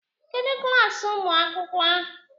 Kedụ klaasị ụmụ akwụkwọ?